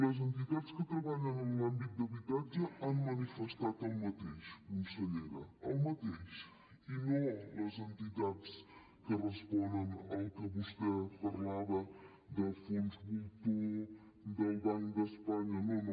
les entitats que treballen en l’àmbit d’habitatge han manifestat el mateix consellera el mateix i no les entitats que responen al que vostè parlava de fons voltor del banc d’espanya no no